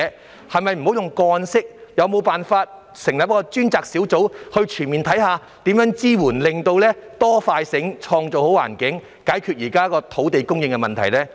政府可否停用個案形式處理，而成立專責小組全面審視如何提供支援，以期可以"多、快、醒，創造好環境"，解決現時的土地供應問題呢？